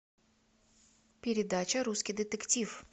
передача русский детектив